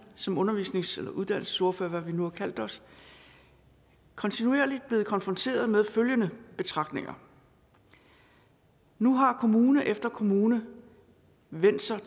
som undervisnings eller uddannelsesordførere eller hvad vi nu har kaldt os kontinuerligt blevet konfronteret med følgende betragtninger nu har kommune efter kommune vendt sig